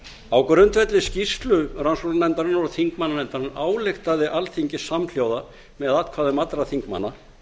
á grundvelli skýrslu rannsóknarnefndarinnar og þingmannanefndarinnar ályktaði alþingi samhljóða með atkvæðum allra þingmanna